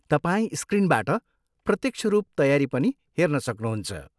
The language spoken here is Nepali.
तपाईँ स्क्रिनबाट प्रत्यक्ष रूप तयारी पनि हेर्न सक्नुहुन्छ।